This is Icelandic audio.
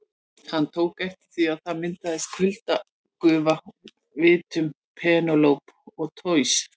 Hann tók eftir því að það myndaðist kuldagufa úr vitum Penélope og Toshizo.